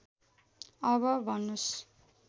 अब भन्नुस्